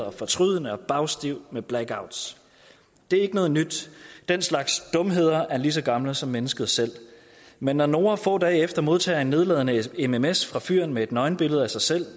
og fortrydende og bagstiv med blackout det er ikke noget nyt den slags dumheder er lige så gamle som mennesket selv men når noora få dage efter modtager en nedladende mms fra fyren med et nøgenbillede af sig selv